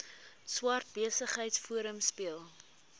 swart besigheidsforum speel